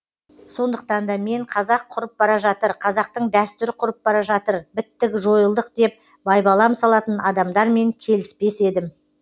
сондықтан да мен қазақ құрып бара жатыр қазақтың дәстүрі құрып бара жатыр біттік жойылдық деп байбалам салатын адамдармен келіспес едім